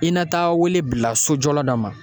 I na taa wele bila sojɔla dɔ ma